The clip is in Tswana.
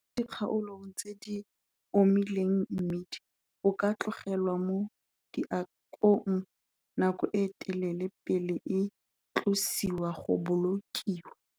Mo dikgaolong tse di omileng mmidi o ka tlogelwa mo diakong nako e telele pele e tlosiwa go bolokiwa.